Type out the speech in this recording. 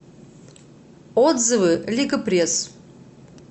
отзывы лига пресс